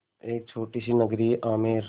एक छोटी सी नगरी है आमेर